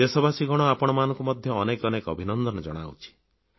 ଦେଶବାସୀଗଣ ଆପଣମାନଙ୍କୁ ମଧ୍ୟ ଅନେକ ଅନେକ ଅଭିନନ୍ଦନ ଜଣାଉଛି